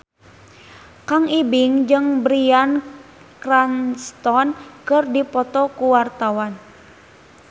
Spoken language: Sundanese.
Kang Ibing jeung Bryan Cranston keur dipoto ku wartawan